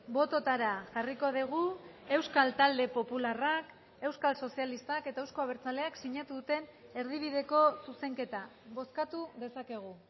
bototara jarriko dugu euskal talde popularrak euskal sozialistak eta euzko abertzaleak sinatu duten erdibideko zuzenketa bozkatu dezakegu